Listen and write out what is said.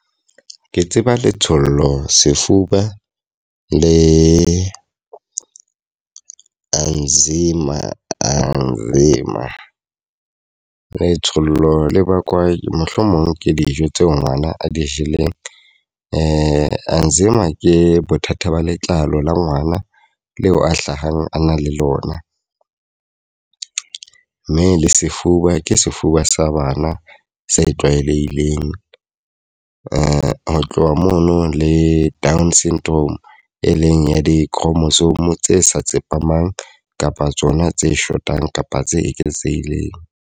Ke tseba letsholo, sefuba le anzima, anzima. Letsholo le bakwa mohlomong ke dijo tse ngwana a di jeleng. Anzima ke bothata ba letlalo la ngwana leo a hlahang a na le lona. Mme le sefuba ke sefuba sa bana se tlwaelehileng. Ho tloha mono le down syndrome e leng ya di-chromosome tse sa tsepameng kapa tsona tse shotang kapa tse eketsehileng.